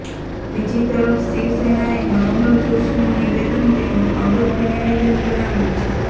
બીજી તરફ શિવસેનાએ મનોહર જોશીનું નિવેદન તેમનું અંગત નિવેદન ગણાવ્યું છે